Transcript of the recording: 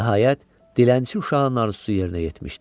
Nəhayət, dilənçi uşağın arzusu yerinə yetmişdi.